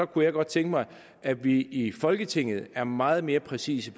kunne godt tænke mig at vi i folketinget er meget mere præcise